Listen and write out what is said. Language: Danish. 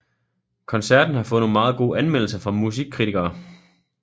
Koncerten har fået meget gode anmeldelser fra musik kritikere